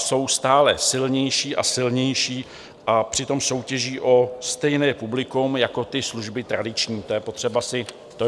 Jsou stále silnější a silnější, a přitom soutěží o stejné publikum jako ty služby tradiční, to je potřeba si uvědomit.